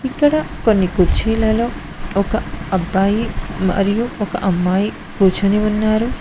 ఇక్కడ కొన్ని కుర్చీలలో ఒక అబ్బాయి మరియు ఒక అమ్మాయి కూర్చొని ఉన్నారు.